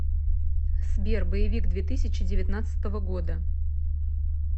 сбер боевик две тысячи девятнадцатого года